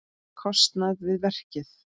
kostnað við verkið.